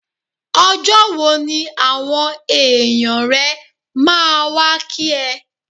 Ọjọ́ wo ni àwọn èèyàn rẹ máa wá kí ẹ?